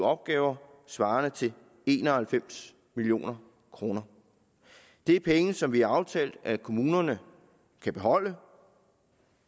opgaver svarende til en og halvfems million kroner det er penge som vi har aftalt at kommunerne kan beholde